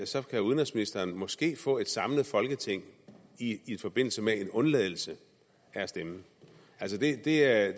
så kan udenrigsministeren måske få et samlet folketing i i forbindelse med en undladelse af at stemme det er